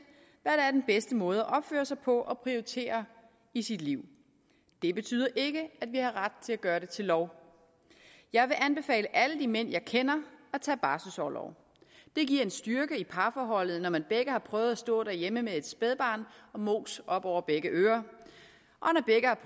hvad der er den bedste måde at opføre sig på og at prioritere i sit liv det betyder ikke at vi har ret til at gøre det til lov jeg vil anbefale alle de mænd jeg kender at tage barselsorlov det giver en styrke i parforholdet når man begge har prøvet at stå derhjemme med et spædbarn og mos op over begge ører